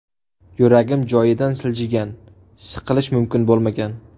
Yuragim joyidan siljigan, siqilish mumkin bo‘lmagan.